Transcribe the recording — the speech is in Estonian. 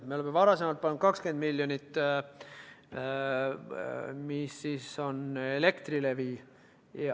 Me oleme varasemalt pannud 20 miljonit, mis on läinud Elektrilevi kaudu.